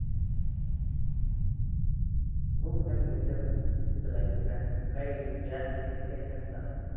बघू त्यांना विचारून कुठ जायच काय काही फ्री असतील काही नसतात